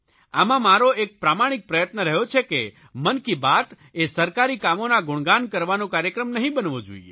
આમાં મારો એક પ્રામાણિક પ્રયત્ન રહ્યો છે કે મન કી બાત એ સરકારી કામોના ગુણગાન કરવાનો કાર્યક્રમ નહીં બનવો જોઇએ